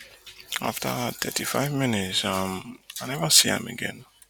afta thirty-five minutes um i neva see am again oh